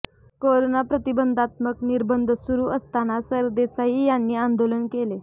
corona प्रतिबंघात्मक निर्बंध सुरू असताना सरदेसाई यांनी आंदोलन केले